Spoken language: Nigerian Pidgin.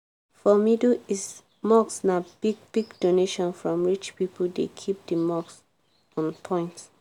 for middle east mosques na big-big donations from rich pipo dey keep di mosque on point.